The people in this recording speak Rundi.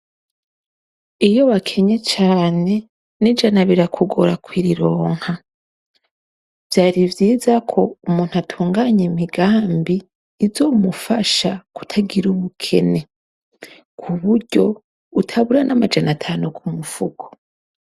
Iyo wakenye cane, n'ijana birakugora kurironka. Vyari vyiza ko umuntu atunganya imigambi izomufasha kutagira ubukene, ku buryo utabura n'amajana atanu ku mufuko.